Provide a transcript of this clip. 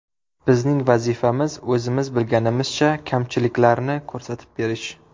Bizning vazifamiz, o‘zimiz bilganimizcha kamchiliklarni ko‘rsatib berish.